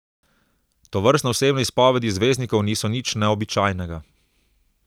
Tovrstne osebne izpovedi zvezdnikov niso nič neobičajnega.